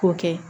K'o kɛ